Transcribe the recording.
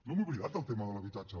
no m’he oblidat del tema de l’habitatge